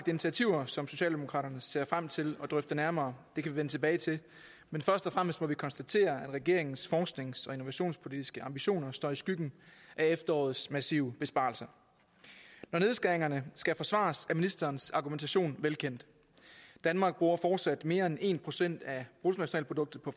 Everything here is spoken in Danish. initiativer som socialdemokraterne ser frem til at drøfte nærmere det kan vi vende tilbage til først og fremmest må vi konstatere at regeringens forsknings og innovationspolitiske ambitioner står i skyggen af efterårets massive besparelser når nedskæringerne skal forsvares er ministerens argumentation velkendt danmark bruger fortsat mere end en procent af bruttonationalproduktet på